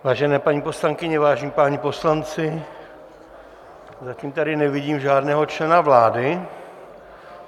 Vážené paní poslankyně, vážení páni poslanci, zatím tady nevidím žádného člena vlády.